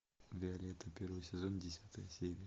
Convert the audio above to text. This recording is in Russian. виолетта первый сезон десятая серия